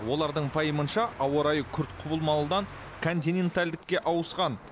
олардың пайымынша ауа райы күрт құбылмалыдан континентальдікке ауысқан